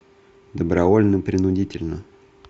добровольно принудительно